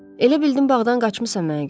Elə bildim bağdan qaçmısan mənə görə.